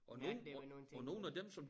Mærke der var nogle ting der